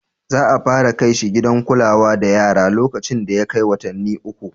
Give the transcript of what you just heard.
Za a fara kai shi gidan kula da yara lokacin da ya kai watanni uku.